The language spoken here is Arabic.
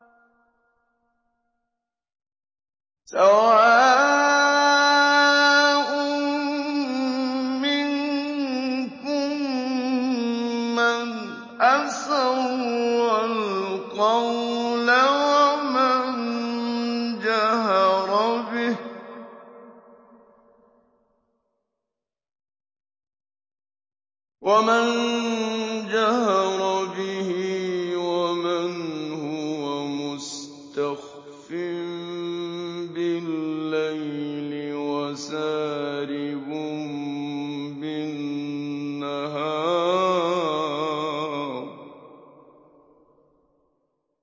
سَوَاءٌ مِّنكُم مَّنْ أَسَرَّ الْقَوْلَ وَمَن جَهَرَ بِهِ وَمَنْ هُوَ مُسْتَخْفٍ بِاللَّيْلِ وَسَارِبٌ بِالنَّهَارِ